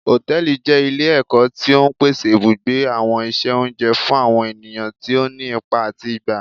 Hòtẹ́ẹ̀lì jẹ ile-ẹkọ ti o ń pèsè ibugbe, awọn iṣẹ oúnjẹ fún àwọn ènìyàn tí òní ipá atí gbá.